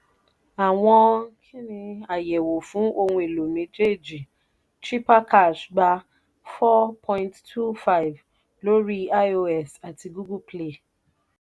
àwọn àyẹ̀wò fún ohun èlò méjèèjì: chipper cash gbà 4.2/5 lórí ios àti google play.